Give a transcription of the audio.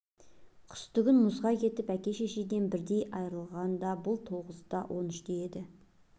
қысты күн мұзға кетіп әке-шешеден бірдей айырылғанда бұл тоғызда он үште еді